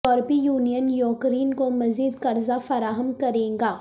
یورپی union Ukraine کو مزید قرضہ فراہم کرے گا